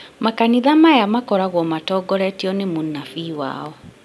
makanitha maya makoragwo matongoretio nĩ mũnabii wao